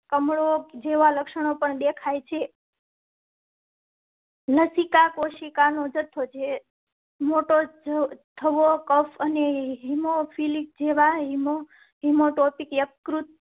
કમળો જેવા લક્ષણો પણ દેખાય છે. લસિકા કોશિકા નો જથ્થો જે છો કફ અને હિમો ફિલિયા જેવા હિમો.